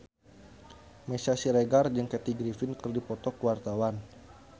Meisya Siregar jeung Kathy Griffin keur dipoto ku wartawan